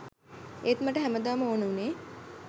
ඒත් මට හැමදාම ඕන වුණේ